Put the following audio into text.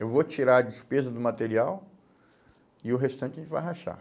Eu vou tirar a despesa do material e o restante a gente vai rachar.